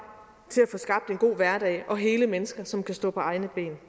til at få skabt en god hverdag og hele mennesker som kan stå på egne ben